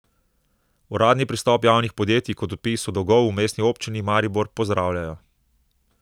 Uradni pristop javnih podjetij k odpisu dolgov v Mestni občini Maribor pozdravljajo.